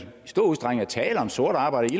stor udstrækning er tale om sort arbejde